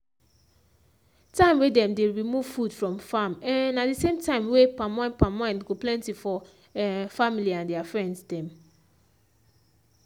time wey dem dey remove food from farm um na the same time wey palmwine palmwine go plenty for um family and their friends dem